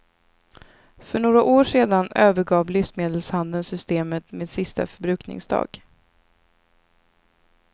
För några år sedan övergav livsmedelshandeln systemet med sista förbrukningsdag.